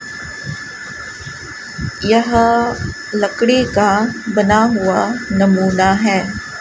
यहां लकड़ी का बना हुआ नमूना है।